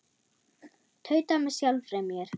Tauta með sjálfri mér.